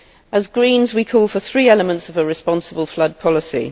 As Greens, we call for three elements of a responsible flood policy.